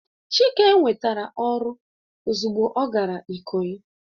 Chike nwetara oru ozugbo o gara ikoyi